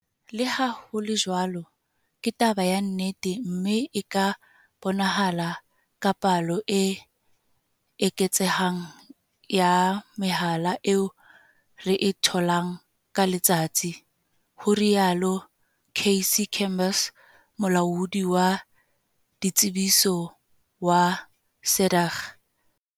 "Leha ho le jwalo, ke taba ya nnete, mme e ka bonahala ka palo e eketsehang ya mehala eo re e tholang ka letsatsi," ho rialo Cassey Chambers, Molaodi wa Ditshebetso wa SADAG.